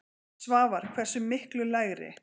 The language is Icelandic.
Svavar: Hversu miklu lægri?